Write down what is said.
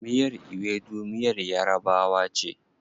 Miyar Ewedu miyar yarabawa ce.